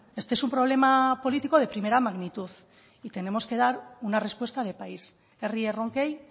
este es un problema político de primera magnitud y tenemos que dar una respuesta de país herri erronkei